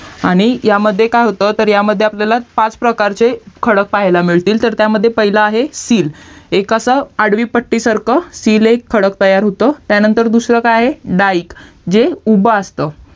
आणि ह्यामध्ये काय होतं तर ह्यामध्ये पाच प्रकारचे खडक पाहायला मिळतील तर त्यामध्ये पहिलं आहे SEAL हे कसं आडवीपट्टी सारखा SEAL एक खडक तयार होतं त्यानंतर दूसर काय आहे DIKE जे उभा असतं